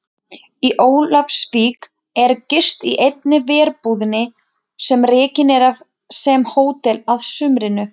Í Ólafsvík er gist í einni verbúðinni sem rekin er sem hótel að sumrinu.